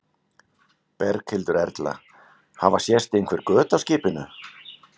Berghildur Erla: Hafa sést einhver göt á skipinu?